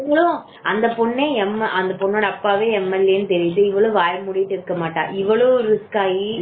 இவளும் அந்த பொன்னே MLA அந்த பொண்ணோட அப்பாவே MLA னு இவளும் வாய மூடிட்டு இருக்க மாட்ட இவ்வளவும் risk ஆகி